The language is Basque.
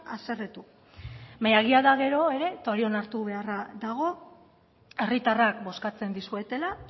haserretu baina egia da gero ere eta hori onartu beharra dago herritarrak bozkatzen dizuetela